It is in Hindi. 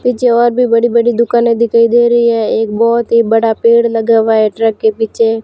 पीछे और भी बड़ी बड़ी दुकाने है दिखाई दे रही है एक बहोत ही बड़ा पेड़ लगा हुआ है ट्रक के पीछे--